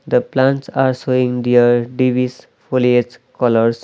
the plants are showing their colours.